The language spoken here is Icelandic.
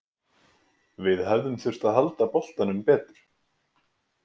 Við hefðum þurft að halda boltanum betur.